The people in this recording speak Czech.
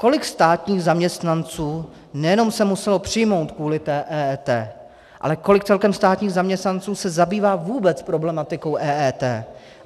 Kolik státních zaměstnanců se nejenom muselo přijmout kvůli EET, ale kolik celkem státních zaměstnanců se zabývá vůbec problematikou EET?